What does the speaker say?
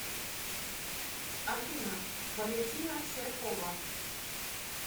афина валентина серкова